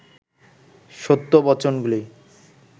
সত্য বচনগুলি